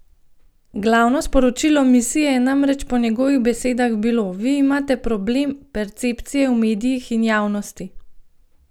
Glavno sporočilo misije je namreč po njegovih besedah bilo: "Vi imate problem percepcije v medijih in javnosti.